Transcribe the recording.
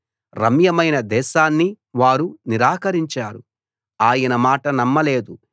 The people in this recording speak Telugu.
రమ్యమైన దేశాన్ని వారు నిరాకరించారు ఆయన మాట నమ్మలేదు